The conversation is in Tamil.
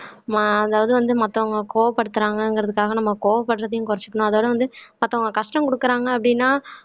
ஆஹ் அதாவது வந்து மத்தவங்க கோவப்படுத்துறாங்கங்கிறதுக்காக நம்ம கோவப்படுறதையும் குறைச்சுக்கணும் அதோட வந்து மத்தவங்க கஷ்டம் கொடுக்குறாங்க அப்படின்னா